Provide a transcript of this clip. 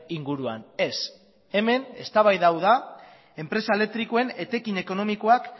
inguruan ez hemen eztabaida hau da enpresa elektrikoen etekin ekonomikoak